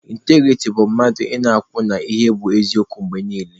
Ịntagirity bụ mmadụ ị na-akwụ n'ihe bụ eziokwu mgbe niile.